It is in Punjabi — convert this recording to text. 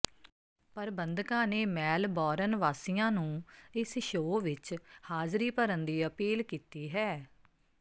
ਪ੍ਰਬੰਧਕਾਂ ਨੇ ਮੈਲਬੌਰਨ ਵਾਸੀਆਂ ਨੂੰ ਇਸ ਸ਼ੋਅ ਵਿਚ ਹਾਜ਼ਰੀ ਭਰਨ ਦੀ ਅਪੀਲ ਕੀਤੀ ਹੈ